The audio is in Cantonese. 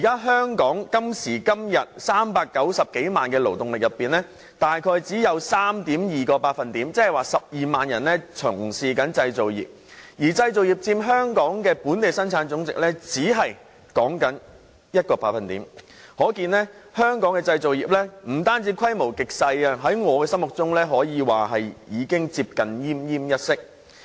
香港今時今日有390多萬勞動人口，大概只有 3.2% 是從事製造業，而製造業佔本地生產總值只有 1%， 可見本港製造業不單規模極小，在我心中更可謂接近奄奄一息。